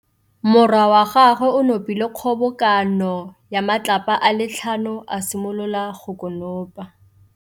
Morwa wa gagwe o nopile kgobokanô ya matlapa a le tlhano, a simolola go konopa.